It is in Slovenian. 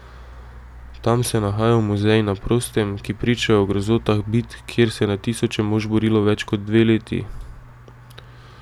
Tam se nahajajo muzeji na prostem, ki pričajo o grozotah bitk, kjer se je na tisoče mož borilo več kot dve leti.